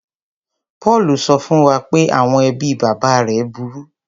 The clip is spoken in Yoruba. Paul sọ fún wa pé àwọn ẹbí bàbá rẹ̀ burú.